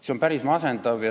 See on päris masendav.